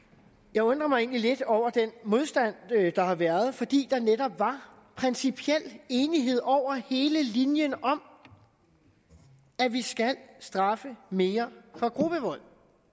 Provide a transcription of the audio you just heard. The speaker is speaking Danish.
jeg undrer mig egentlig lidt over den modstand der har været fordi der netop var principiel enighed over hele linjen om at vi skal straffe mere for gruppevold